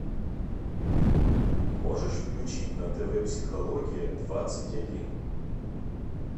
можешь включить на тв психология двадцать один